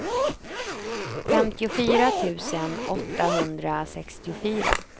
femtiofyra tusen åttahundrasextiofyra